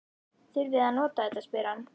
Þurfið þið að nota þetta? spyr hann.